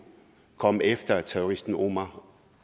komme efter terroristen omar